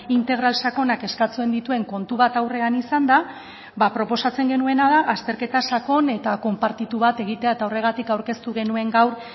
integral sakonak eskatzen dituen kontu bat aurrean izanda ba proposatzen genuena da azterketa sakon eta konpartitu bat egitea eta horregatik aurkeztu genuen gaur